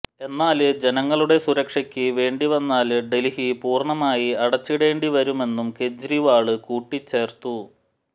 എന്നാല് ജനങ്ങളുടെ സുരക്ഷയ്ക്ക് വേണ്ടി വന്നാല് ഡല്ഹി പൂര്ണ്ണമായി അടച്ചിടേണ്ടി വരുമെന്നും കെജ്രിവാള് കൂട്ടിച്ചേര്ത്തു